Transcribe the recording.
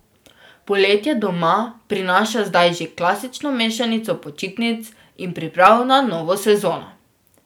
Poletje doma prinaša zdaj že klasično mešanico počitnic in priprav na novo sezono.